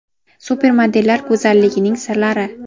Supermodellar go‘zalligining sirlari.